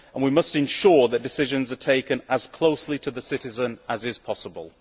and we must ensure that decisions are taken as closely to the citizen as possible.